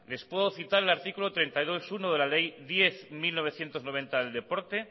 les puedo citar el artículo treinta y dos punto uno de la ley diez barra mil novecientos noventa del deporte